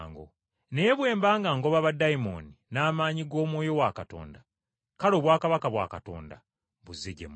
Naye bwe mba ngoba baddayimooni n’amaanyi g’Omwoyo wa Katonda, kale Obwakabaka bwa Katonda buzze gye muli.